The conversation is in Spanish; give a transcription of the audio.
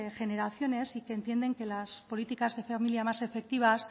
generaciones y que entienden que las políticas de familia más efectivas